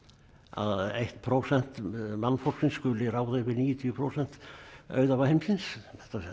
að eitt prósent mannfólksins skuli ráða yfir níutíu prósent heimsins